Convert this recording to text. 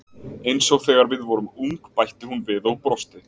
Eins og þegar við vorum ung bætti hún við og brosti.